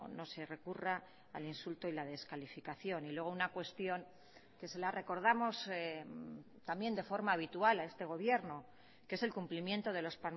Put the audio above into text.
no se recurra al insulto y la descalificación y luego una cuestión que se la recordamos también de forma habitual a este gobierno que es el cumplimiento de los